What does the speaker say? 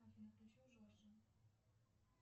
афина включи джорджа